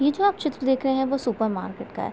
ये जो आप चित्र देख रहे हैं वो सुपरमार्केट का है।